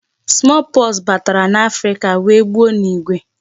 Small pox batara n'Africa wee gbuo n'igwe.